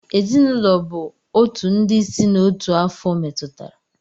Ezinụlọ bụ otu ndị si na otu afo metụtara.